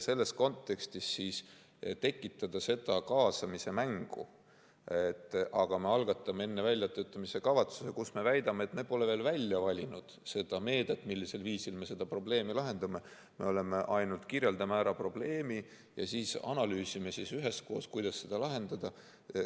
Selles kontekstis tekitatakse see kaasamise mäng, et me algatame enne väljatöötamiskavatsuse, kus me väidame, et me pole veel välja valinud seda meedet, millisel viisil me seda probleemi lahendame, me ainult kirjeldame ära probleemi ja siis analüüsime üheskoos, kuidas seda lahendada.